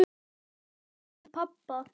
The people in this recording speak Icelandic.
Ég leit til pabba.